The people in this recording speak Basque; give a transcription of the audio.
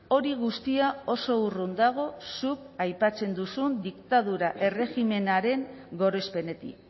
hori guztia oso urrun dago zuk aipatzen duzun diktadura erregimenaren gorespenetik